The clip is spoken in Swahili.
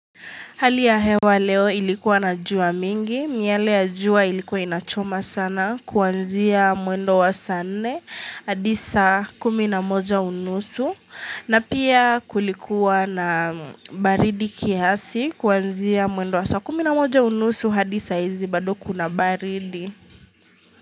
Hali ya hewa leo ilikuwa na jua mingi, miale ya jua ilikuwa inachoma sana kuanzia mwendo wa saa nne, hadi saa kumi na moja unusu, na pia kulikuwa na baridi kiasi kuanzia mwendo wa saa kumi na moja unusu hadi saa hizi bado kuna baridi.